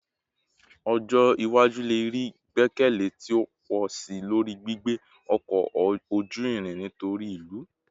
Ọjọ iwaju le rii igbẹkẹle ti o pọ si lori gbigbe ọkọ oju-irin nitori ilu